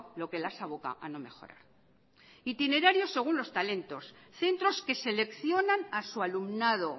lo que las aboca a no mejorar itinerarios según los talentos centros que seleccionan a su alumnado